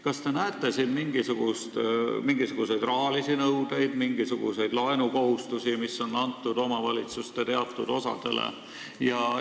Kas te näete selle taga mingisuguseid rahalisi nõudeid, mingisuguseid laene, mis on antud omavalitsuste teatud osadele?